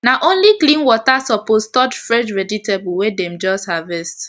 na only clean water suppose touch fresh vegetable wey den just harvest